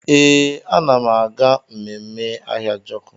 Ee, ana m aga ememme Ahịajọkụ.